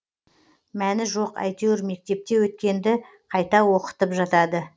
мәні жоқ әйтеуір мектепте өткенді қайта оқытып жатады